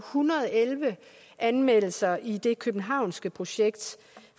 hundrede og elleve anmeldelser i det københavnske projekt